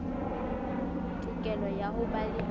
tokelo ya ho ba le